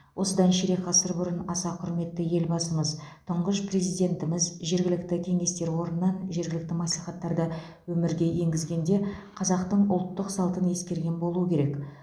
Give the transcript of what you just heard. осыдан ширек ғасыр бұрын аса құрметті елбасымыз тұңғыш президентіміз жергілікті кеңестер орнынан жергілікті мәслихаттарды өмірге енгізгенде қазақтың ұлттық салтын ескерген болуы керек